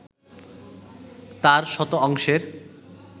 তার শত অংশের